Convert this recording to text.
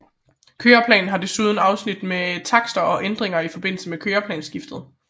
Køreplanen havde desuden afsnit med takster og ændringer i forbindelse med køreplansskiftet